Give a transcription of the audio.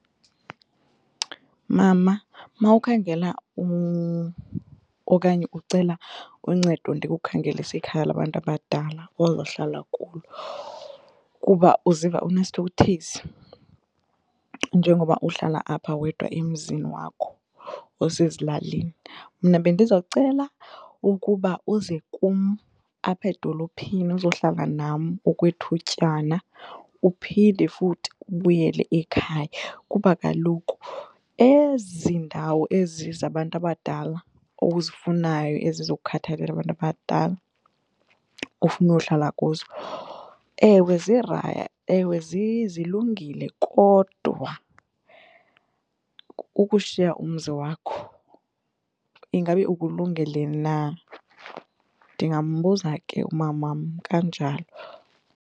Mama, mawukhangela okanye ucela uncedo ndikukhangelise ikhaya labantu abadala ozohlala kulo kuba uziva unesithukuthezi njengoba uhlala apha wedwa emzini wakho osezilalini mna bendizocela ukuba uze kum apha edolophini uzohlala nam okwethutyana uphinde futhi ubuyele ekhaya kuba kaloku ezi ndawo ezi zabantu abadala ozifunayo ezi zokukhathalela abantu abadala ofuna uyohlala kuzo ewe ewe zilungile kodwa kukushiya umzi wakho, ingabe ukulungele na. Ndingambuza ke umamam kanjalo.